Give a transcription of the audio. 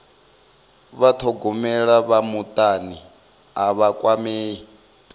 vhathogomeli vha mutani a vha kwamei